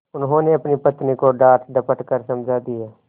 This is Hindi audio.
उन्होंने अपनी पत्नी को डाँटडपट कर समझा दिया